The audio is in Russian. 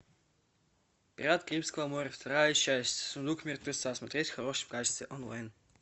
пираты карибского моря вторая часть сундук мертвеца смотреть в хорошем качестве онлайн